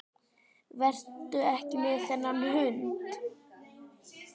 Vertu ekki með þennan hund.